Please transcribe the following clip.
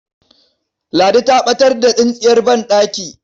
Ladidi ta ɓatar da tsintsiyar banɗaki.